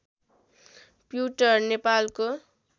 प्युटार नेपालको